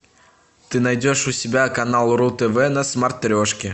ты найдешь у себя канал ру тв на смотрешке